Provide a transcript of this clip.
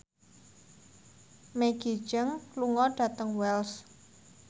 Maggie Cheung lunga dhateng Wells